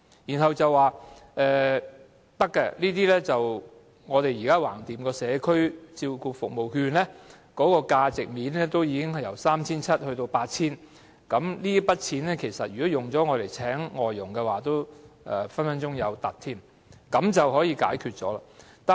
然後，他們指出這是可行的，因為長者社區照顧服務券的價值，現時已由 3,700 元增加至 8,000 元，如果用作聘請外傭，一定有餘，這便可解決問題。